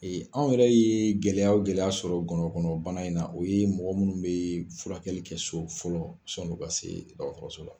anw yɛrɛ ye gɛlɛya o gɛlɛya sɔrɔ ngɔnɔnkɔnɔbana in na o ye mɔgɔ minnu bɛ furakɛli kɛ so fɔlɔ sann'o ka se dɔgɔtɔrɔso la